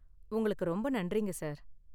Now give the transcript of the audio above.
உங்களுக்கு ரொம்ப நன்றிங்க, சார்.